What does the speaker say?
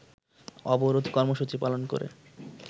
অবরোধ কর্মসুচি পালন করে